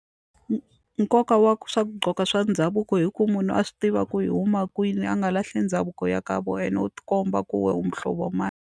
nkoka wa swa ku gqoka swa ndhavuko hi ku munhu a swi tiva ku i huma kwini a nga lahli ndhavuko ya ka vona and u tikomba ku we u muhlovo mani.